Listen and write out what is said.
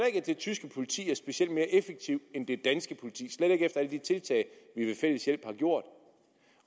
det tyske politi er specielt mere effektivt end det danske politi slet ikke efter alle de tiltag vi ved fælles hjælp har gjort